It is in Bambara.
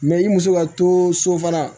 Mɛ i muso ka to so fana